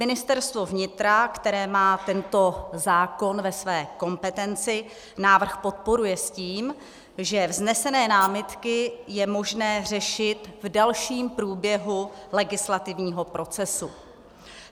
Ministerstvo vnitra, které má tento zákon ve své kompetenci, návrh podporuje s tím, že vznesené námitky je možné řešit v dalším průběhu legislativního procesu.